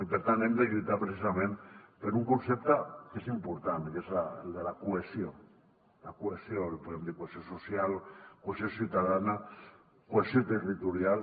i per tant hem de lluitar precisament per un concepte que és important que és el de la cohesió la cohesió en podem dir cohesió social cohesió ciutadana cohesió territorial